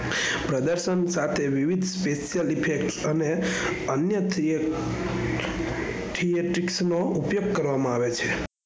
સાથે વિવિદ effect અને અન્ય theatics નો ઉપયોગ કરવામાં આવે છે.